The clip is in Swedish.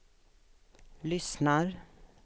lyssnar